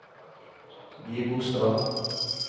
Gibostad